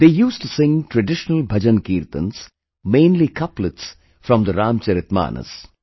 They used to sing traditional bhajankirtans, mainly couplets from the Ramcharitmanas